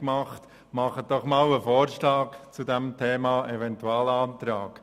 Macht doch einmal einen Vorstoss zum Thema Eventualantrag!